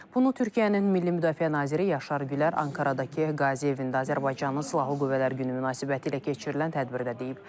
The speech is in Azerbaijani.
Bunu Türkiyənin milli müdafiə naziri Yaşar Gülər Ankaradakı Qazi evində Azərbaycanın Silahlı Qüvvələr Günü münasibətilə keçirilən tədbirdə deyib.